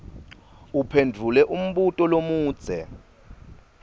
uphendvule umbuto lomudze